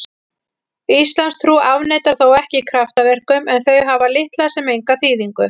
Íslamstrú afneitar þó ekki kraftaverkum en þau hafa litla sem enga þýðingu.